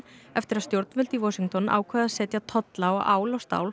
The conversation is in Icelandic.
eftir að stjórnvöld í Washington ákváðu að setja tolla á ál og stál